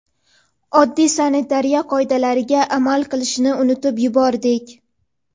oddiy sanitariya qoidalariga amal qilishni unutib yubordik.